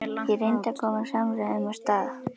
Ég reyndi að koma samræðum af stað.